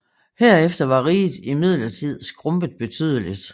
Herefter var riget imidlertid skrumpet betydeligt